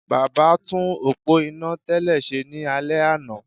Baba tún òpó iná tẹ́lẹ̀ ṣe ní alẹ́ àná